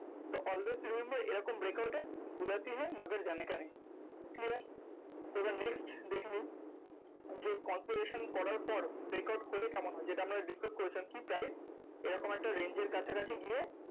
তো always remember এরকম break out এ clear? তো এবার next দেখে নিন যে করার পর breakout হলে কেমন হয়? যেটা আমরা discuss করেছিলাম। কি price এরকম একটা renge এর কাছাকাছি গিয়ে